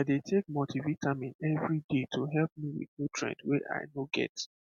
i dey take multivitamin every day to help me with nutrients wey i no get